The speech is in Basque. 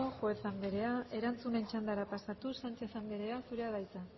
juez anderea erantzunen txandara pasatuz sánchez anderea zurea da hitza